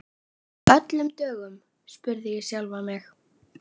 Af öllum dögum? spurði ég sjálfa mig.